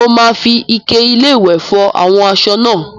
Mo máa fi ike-iléwẹ̀ fọ àwọn aṣọ náà.